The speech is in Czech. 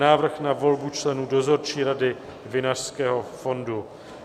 Návrh na volbu členů Dozorčí rady Vinařského fondu